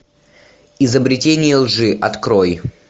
изобретение лжи открой